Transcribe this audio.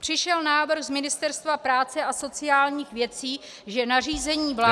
Přišel návrh z Ministerstva práce a sociálních věcí, že nařízení vlády -